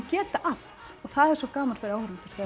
geta allt og það er svo gaman fyrir áhorfendur